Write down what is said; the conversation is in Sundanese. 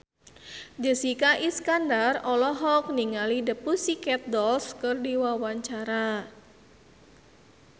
Jessica Iskandar olohok ningali The Pussycat Dolls keur diwawancara